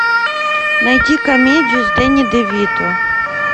найти комедию с дэнни де вито